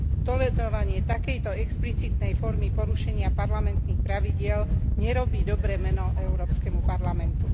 Tolerovanie takejto explicitnej formy porušenia parlamentných pravidiel nerobí dobré meno Európskemu parlamentu.